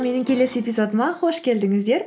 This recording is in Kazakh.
менің келесі эпизодыма қош келдіңіздер